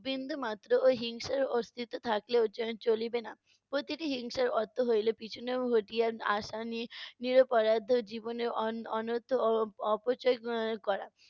বিন্দুমাত্রও হিংসার অস্তিত্ব থাকলেও চ~ চলিবে না। প্রতিটি হিংসার অর্থ হইলো পিছনে ঘটিয়া আসা নির~ নিরপরাধ জীবনে অন~ অনর্থ অ~ অপচয় ক~ আহ করা।